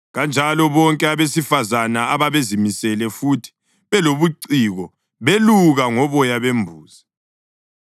Kanjalo bonke abesifazane ababezimisele futhi belobuciko beluka ngoboya bembuzi.